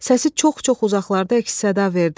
Səsi çox-çox uzaqlarda əks-səda verdi.